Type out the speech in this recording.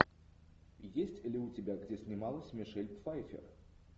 есть ли у тебя где снималась мишель пфайффер